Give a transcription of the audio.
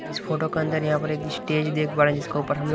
इस फोटो के अंदर यहां पर एक स्टेज देख पा रहे हैं जिसके ऊपर हम--